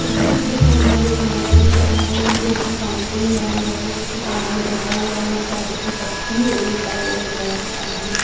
इस चित्र के अन्दर एक लड़का दिख रहा है जो की फाउंटेन बना हुआ है उसके सामने बेठा हुआ है और शायद अपनी तस्वीर लेता हुआ नजर आ रहा है।